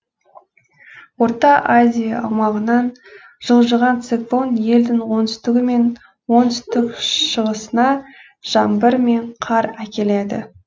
орта азия аумағынан жылжыған циклон елдің оңтүстігі мен оңтүстік шығысына жаңбыр мен қар әкеледі